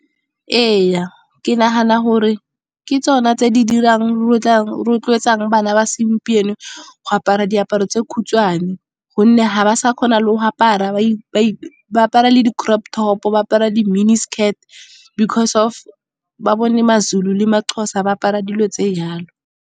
Ee, ke nagana gore ke tsona tse rotloetsang bana ba segompieno go apara diaparo tse khutshwane. Gonne ga ba sa kgona le go apara ba apara le di-crop top, ba apara di-mini skirt because of ba bone ma-Zulu le ma-Xhosa ba apara dilo tse jalo.